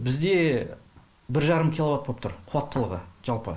бізде бір жарым киловатт болып тұр қуаттылығы жалпы